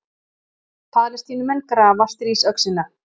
Palestínumenn grafa stríðsöxina